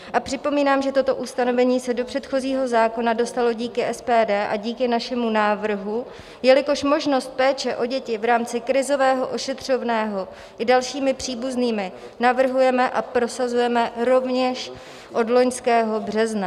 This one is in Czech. A připomínám, že toto ustanovení se do předchozího zákona dostalo díky SPD a díky našemu návrhu, jelikož možnost péče o děti v rámci krizového ošetřovného i dalšími příbuznými navrhujeme a prosazujeme rovněž od loňského března.